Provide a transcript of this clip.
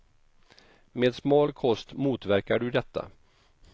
Med smal kost motverkar du detta.